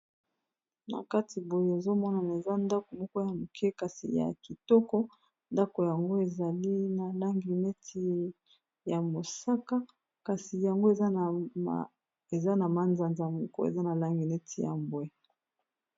Na kati boye ozomonana eza ndako moko ya moke kasi ya kitoko ndako yango ezali na langi neti ya mosaka kasi yango eza na manza nza moko eza na langi neti ya mbwe.